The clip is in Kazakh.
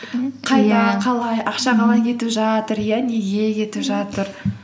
қалай ақша қалай кетіп жатыр иә неге кетіп жатыр